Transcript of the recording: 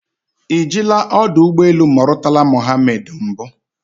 Ị jila ọdọ ụgbọ elu Murtala Mohammed mbụ?